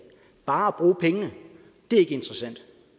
bare at bruge pengene er ikke interessant